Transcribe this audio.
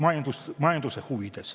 Aitäh!